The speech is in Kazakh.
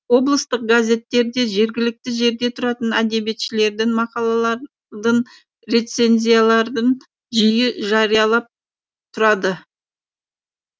облыстық газеттерде жергілікті жерде тұратын әдебиетшілердің мақалалардың рецензиялардың жиі жариялап тұрады